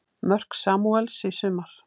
Mörk Samúels í sumar